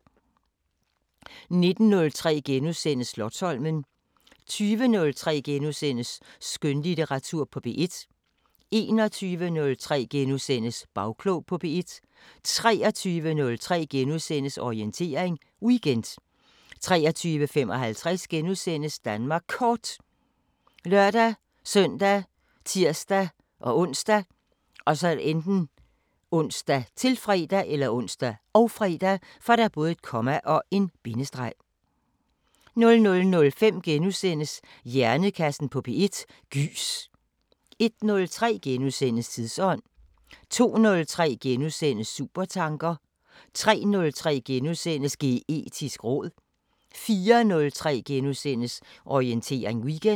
19:03: Slotsholmen * 20:03: Skønlitteratur på P1 * 21:03: Bagklog på P1 * 23:03: Orientering Weekend * 23:55: Danmark Kort *( lør-søn, tir-ons, -fre) 00:05: Hjernekassen på P1: Gys * 01:03: Tidsånd * 02:03: Supertanker * 03:03: Geetisk råd * 04:03: Orientering Weekend *